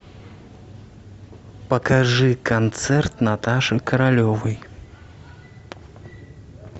покажи концерт наташи королевой